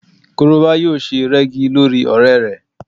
Korobá yóò se rẹ́gí lórí ọ̀rẹ́ rẹ